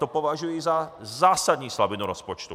To považuji za zásadní slabinu rozpočtu.